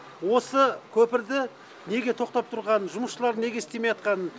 осы көпірді неге тоқтап тұрғаны жұмысшылардың неге істемейатқаны